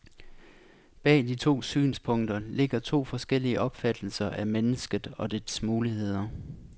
Bag de to synspunkter ligger to forskellige opfattelser af mennesket og dets muligheder.